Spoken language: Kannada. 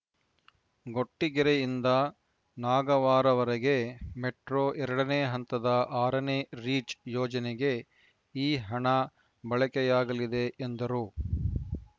ಗೊಟ್ಟಿಗೆರೆಯಿಂದ ನಾಗವಾರವರೆಗೆ ಮೆಟ್ರೋ ಎರಡ ನೇ ಹಂತದ ಆರನೇ ರೀಚ್‌ ಯೋಜನೆಗೆ ಈ ಹಣ ಬಳಕೆಯಾಗಲಿದೆ ಎಂದರು